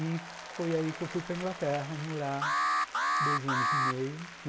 E foi aí que eu fui para a Inglaterra morar dois anos e meio.